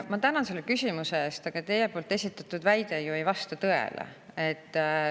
Ma tänan selle küsimuse eest, aga teie esitatud väide ei vasta ju tõele.